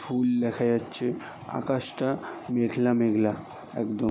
ফুল দেখা যাচ্ছে আকাশটা মেঘলা মেঘলা একদম।